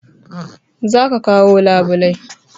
Za ka kawo labulai